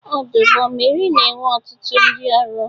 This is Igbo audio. Ọdụ ụgbọ mmiri na-enwe ọtụtụ ndị ọrụ.